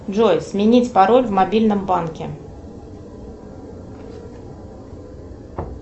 джой сменить пароль в мобильном банке